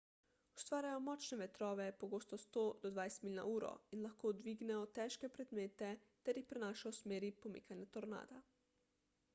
ustvarjajo močne vetrove pogosto 100–200 milj/uro in lahko dvignejo težke predmete ter jih prenašajo v smeri pomikanja tornada